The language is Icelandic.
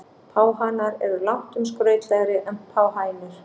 Páhanar eru langtum skrautlegri en páhænur.